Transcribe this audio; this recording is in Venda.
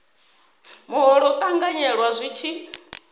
muholo u ṱanganyelwa zwi tshi